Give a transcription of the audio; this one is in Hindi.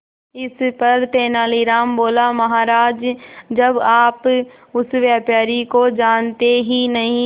इस पर तेनालीराम बोला महाराज जब आप उस व्यापारी को जानते ही नहीं